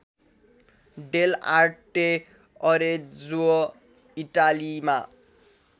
Dell'Arte Arezzo इटालीमा